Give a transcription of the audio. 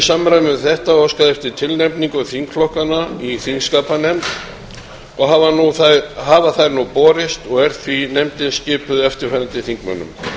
samræmi við þetta óskað eftir tilnefningum þingflokkanna í þingskapanefnd og hafa þær nú borist og er því nefndin skipuð eftirfarandi þingmönnum